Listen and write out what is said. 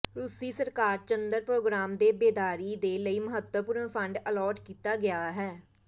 ਰੂਸੀ ਸਰਕਾਰ ਚੰਦਰ ਪ੍ਰੋਗਰਾਮ ਦੇ ਬੇਦਾਰੀ ਦੇ ਲਈ ਮਹੱਤਵਪੂਰਨ ਫੰਡ ਅਲਾਟ ਕੀਤਾ ਗਿਆ ਹੈ